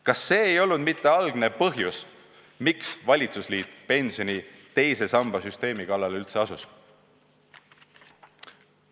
Kas see ei olnud mitte algne põhjus, miks valitsusliit pensioni teise samba süsteemi kallale üldse asus?